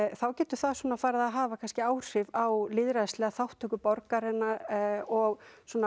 þá getur það farið að hafa áhrif á lýðræðislega borgaranna og